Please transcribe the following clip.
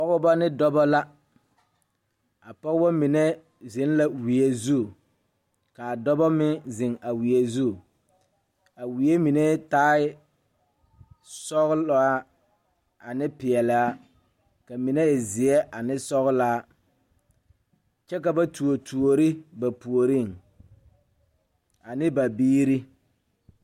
Pɔgebɔ ne dɔbɔ la a pɔgebɔ mine zeŋ la wie zu kaa dɔbɔ meŋ zeŋ a wie zu a wie mine taal sɔglaa ane peɛlaa ka mine e zeɛ ane sɔglaa kyɛ ka ba tuo tuore ba puoriŋ ane ba biire.